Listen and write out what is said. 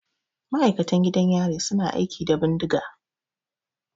Ma'aikatan gidan yari su na aiki da bindiga.